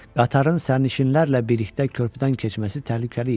Qatarın sərnişinlərlə birlikdə körpüdən keçməsi təhlükəli idi.